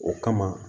O kama